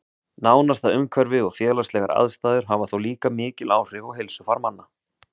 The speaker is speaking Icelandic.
Nánasta umhverfi og félagslegar aðstæður hafa þó líka mikil áhrif á heilsufar manna.